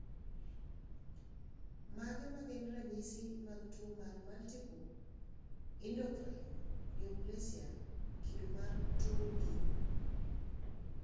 Mage magin ranyisi mag tuo mar Multiple endocrine neoplasia kido mar 2B?